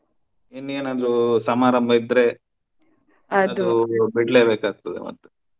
ಇನ್ನೇನಾದ್ರೂ ಸಮಾರಂಭ ಇದ್ರೆ ಬಿಡ್ಲೇ ಬೇಕಾಗ್ತದೆ ಮತ್ತೆ.